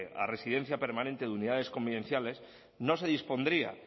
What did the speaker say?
a residencia permanente de unidades convivenciales no se dispondría